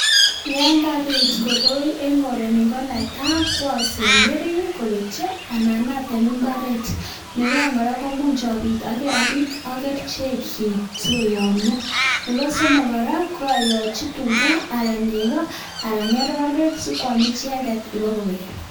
Yoon kabit koroi en korenyun ko osomberi kobetyo anan atem imbaret, nebo oeng kora amuch obiit okerichekyik sikoyomnyo, nebo somok kora ko oyotyi tuka anan nekoo anan ng'ororek sikwam icheket ibokobek.